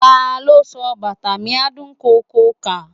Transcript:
Ta ló kọ "Bàtà mi á dún koko kà"?